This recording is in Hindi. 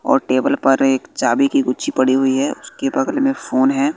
और टेबल पर एक चाबी की गुच्छी पड़ी हुई है उसके बगल में फोन है।